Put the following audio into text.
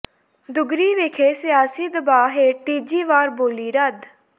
ਦੁੱਗਰੀ ਵਿਖੇ ਸਿਆਸੀ ਦਬਾਅ ਹੇਠ ਤੀਜੀ ਵਾਰ ਬੋਲੀ ਰੱਦ